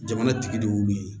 Jamana tigi dɔw be yen